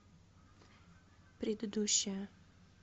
предыдущая